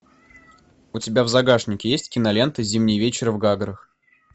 у тебя в загашнике есть кинолента зимний вечер в гаграх